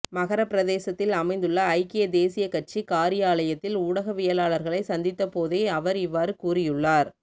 மஹர பிரதேசத்தில் அமைந்துள்ள ஐக்கிய தேசிய கட்சி காரியாலயத்தில் ஊடகவியலாளர்களை சந்தித்தபோதே அவர் இவ்வாறு கூறியுள்ளார்